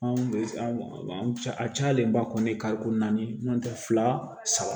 Anw bɛ a cayalenba kɔni kariko naani n'o tɛ fila saba